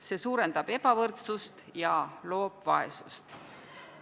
See suurendab ebavõrdsust ja loob vaesust.